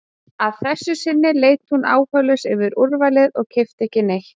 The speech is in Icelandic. Að þessu sinni leit hún áhugalaus yfir úrvalið og keypti ekki neitt.